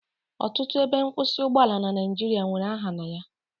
Ọtụtụ ebe nkwụsị ụgbọala na Naijiria nwere aha na ya